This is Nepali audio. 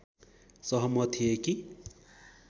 सहमत थिए कि